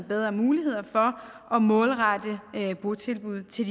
bedre mulighed for at målrette botilbud til